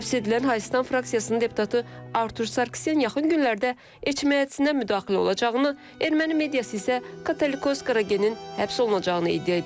Həbs edilən Hayıstan fraksiyasının deputatı Artur Sarkisyan yaxın günlərdə Eçmiəddinə müdaxilə olacağını, Erməni mediası isə Katolikos Qaragenin həbs olunacağını iddia edib.